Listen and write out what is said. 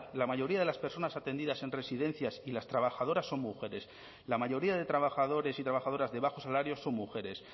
la mayoría de las personas atendidas en residencias y las trabajadoras son mujeres la mayoría de trabajadores y trabajadoras de bajos salarios son mujeres